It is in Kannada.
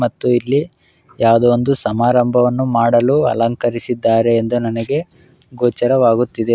ಮತ್ತು ಇಲ್ಲಿ ಯಾವುದೊ ಒಂದು ಸಮಾರಂಭವನ್ನು ಮಾಡಲು ಅಲಂಕರಿಸಿದ್ದಾರೆ ಎಂದು ನನಗೆ ಗೋಚರ ಆಗುತಿದೆ.